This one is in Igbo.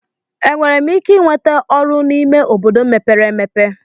Enwere m ike ịnweta ọrụ n'ime obodo mepere emepe?